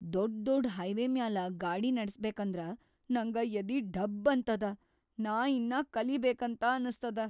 ದೊಡ್‌ ದೊಡ್‌ ಹೈವೇ ಮ್ಯಾಲ ಗಾಡಿ ನಡಸ್ಬೇಕಂದ್ರ ನಂಗ ಯದಿ ಡಬ್‌ ಅಂತದ, ನಾ ಇನ್ನಾ ಕಲಿಬೇಕಂತ ಅನಸ್ತದ.